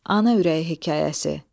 Ana ürəyi hekayəsi.